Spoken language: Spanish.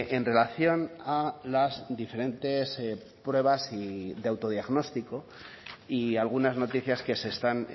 en relación a las diferentes pruebas de autodiagnóstico y algunas noticias que se están